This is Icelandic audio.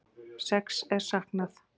Sex er saknað